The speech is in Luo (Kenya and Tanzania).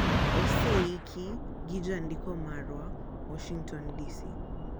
Oseiki gi jandiko marwa, Washington DC.